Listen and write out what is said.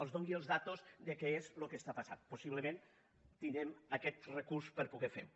els doni les dades de què és el que està passant possiblement tindrem aquest recurs per poder ferho